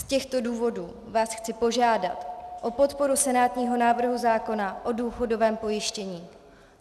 Z těchto důvodů vás chci požádat o podporu senátního návrhu zákona o důchodovém pojištění.